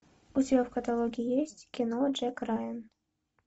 у тебя в каталоге есть кино джек райан